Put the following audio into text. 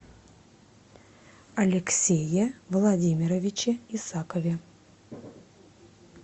алексее владимировиче исакове